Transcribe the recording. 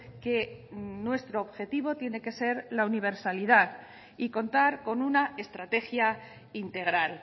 que nuestro objetivo tiene que ser la universalidad y contar con una estrategia integral